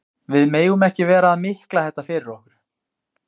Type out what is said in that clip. Við megum ekki vera að mikla þetta fyrir okkur.